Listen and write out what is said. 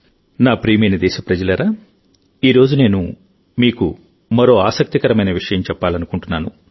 నా ప్రియమైన దేశప్రజలారాఈరోజు నేను మీకు మరో ఆసక్తికరమైన విషయం చెప్పాలనుకుంటున్నాను